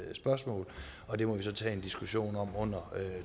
spørgsmål og det må vi så tage en diskussion om under